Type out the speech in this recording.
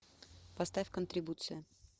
поставь контрибуция